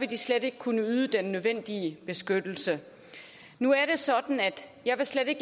vil de slet ikke kunne yde den nødvendige beskyttelse nu er det sådan at jeg slet ikke